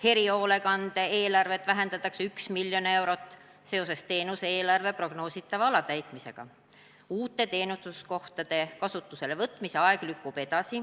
Erihoolekande teenuse eelarvet vähendatakse 1 mln eurot seoses teenuse eelarve prognoositava alatäitmisega .